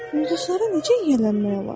Ulduzlara necə yiyələnmək olar?